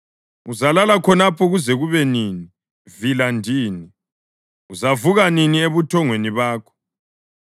Uzalala khonapho kuze kube nini, vila ndini? Uzavuka nini ebuthongweni bakho?